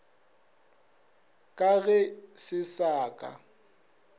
ka ge se sa ka